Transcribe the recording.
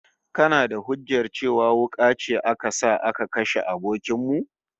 Kana da hujjar cewa wuka ce aka sa aka kashe abokin mu?